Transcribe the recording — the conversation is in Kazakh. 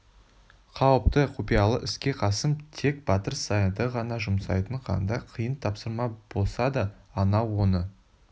қауіпті құпиялы іске қасым тек батыр саянды ғана жұмсайтын қандай қиын тапсырма болса да анау оны